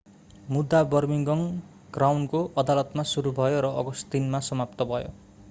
मुद्दा बर्मिंघम क्राउनको अदालतमा सुरु भयो र अगस्ट3 मा समाप्त भयो